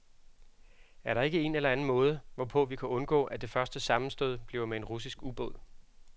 Er der ikke en eller anden måde, hvorpå vi kan undgå, at det første sammenstød bliver med en russisk ubåd?